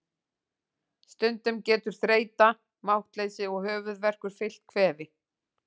Stundum getur þreyta, máttleysi og höfuðverkur fylgt kvefi.